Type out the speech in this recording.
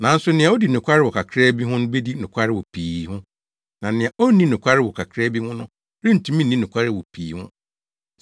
“Nanso nea odi nokware wɔ kakraa bi ho no bedi nokware wɔ pii ho; na nea onni nokware wɔ kakraa bi ho no rentumi nni nokware wɔ pii ho.